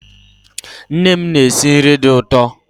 Nne m na-esi nri dị ụtọ